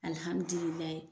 Alihammidulilahi